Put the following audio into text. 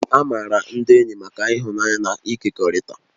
A maara ndị enyi maka ịhụnanya na ịkekọrịta